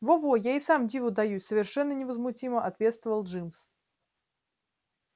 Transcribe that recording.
во-во я и сам диву даюсь совершенно невозмутимо ответствовал джимс